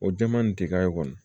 O jɛman in tɛ k'a ye kɔni